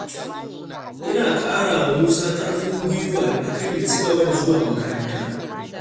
Ina ƙarawa Musa ƙarfin guiwa akan ya ci gaba da zuwa makaranta.